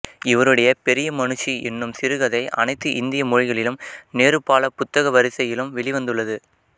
இவருடைய பெரிய மனுஷி எனும் சிறுகதை அனைத்து இந்திய மொழிகளிலும் நேரு பால புத்தக வரிசையிலும் வெளிவந்துள்ளது